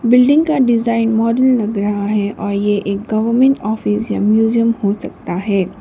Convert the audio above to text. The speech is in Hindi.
बिल्डिंग का डिजाइन मॉडल लग रहा है और ये एक गवर्नमेंट ऑफिस या म्यूजियम हो सकता है।